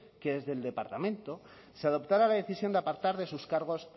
que desde el departamento se adoptará la decisión de apartar de sus cargos